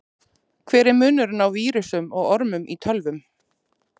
Hver er munurinn á vírusum og ormum í tölvum?